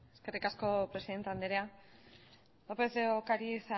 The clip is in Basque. eskerrik asko presidente andrea lópez de ocariz